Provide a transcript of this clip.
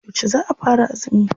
Yauce za a fara azumi?